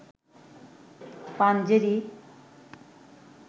Panjeree